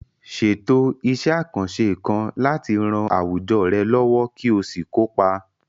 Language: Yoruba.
Ṣètò iṣẹ́ àkànṣe kan láti ran àwùjọ rẹ lọ́wọ́ kí o sì kópa.